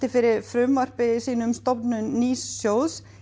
fyrir frumvarpi um stofnun nýs sjóðs